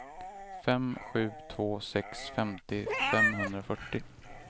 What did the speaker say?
fem sju två sex femtio femhundrafyrtio